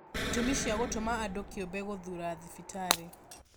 Itũmi cia gũtũma andũ kĩũmbe gũthura thibitarĩ